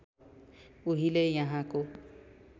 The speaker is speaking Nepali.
उहिले यहाँको